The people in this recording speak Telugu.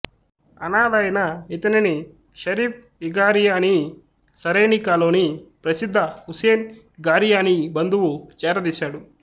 అనాథ అయిన ఇతనిని షరీఫ్ఇఘారియానీ సెరైనికాలోని ప్రసిద్ధ హుస్సేన్ ఘారియానీ బంధువు చేరదీసాడు